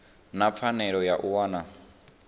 na pfanelo ya u wana